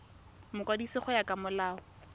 mokwadisi go ya ka molao